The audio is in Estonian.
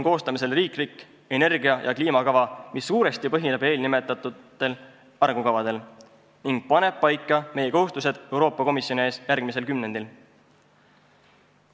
Koostamisel on riiklik energia- ja kliimakava, mis suuresti põhineb eelnimetatud arengukavadel ning paneb paika meie kohustused Euroopa Komisjoni ees järgmisel kümnendil.